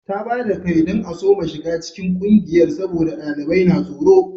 Ta ba da kai don a soma shiga cikin kungiyar saboda dalilai na tsaro